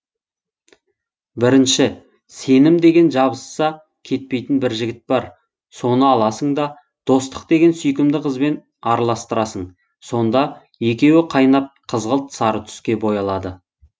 бірінші сенім деген жабысса кетпейтін бір жігіт бар соны аласың да достық деген сүйкімді қызбен араластырасың сонда екеуі қайнап қызғылт сары түске боялады